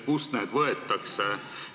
Kust nad võetakse?